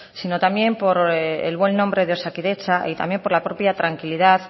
sino también por el buen nombre de osakidetza y también por la propia tranquilidad